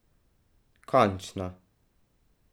Končno?